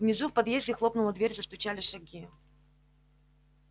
внизу в подъезде хлопнула дверь застучали шаги